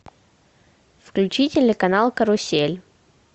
включи телеканал карусель